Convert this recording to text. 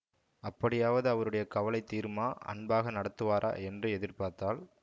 அப்படியாவது அவருடைய கவலை தீருமா அன்பாக நடத்துவாரா என்று எதிர் பார்த்தாள்